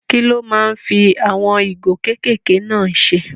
Kí lo máa ń fi àwọn ìgò kékèké náà ṣe?